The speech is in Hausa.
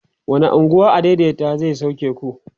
wani unguwa adaidaita zai sauke ku?